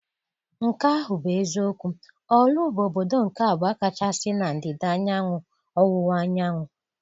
Nke ahụ bụ eziokwu, Orlu bụ obodo nke abụọ kachasị na ndịda ọwụwa anyanwụ.